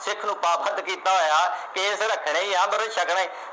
ਸਿੱਖ ਨੂੰ ਕੀਤਾ ਹੋਇਆ ਕੇਸ ਰੱਖਣੇ ਈ ਆ ਅੰਮ੍ਰਿਤ ਛਕਣੇ